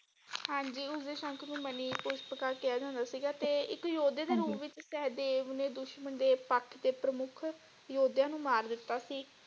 ਹਾਂਜੀ ਉਸਦੇ ਸੰਖ ਨੂੰ ਮਾਨੀਪੁਸ਼ਪਕਾਰ ਕਿਹਾ ਜਾਂਦਾ ਸੀ ਤੇ ਹਾਂਜੀ ਇਕ ਯੋਧੇ ਦੇ ਰੂਪ ਵਿਚ ਸਹਿਦੇਵ ਨੇ ਦੁਸ਼ਮਣ ਦੇ ਪੱਖ ਦੇ ਪ੍ਰਮੁੱਖ ਯੋਧਿਆਂ ਨੂੰ ਮਾਰ ਦਿਤਾ ਸੀ।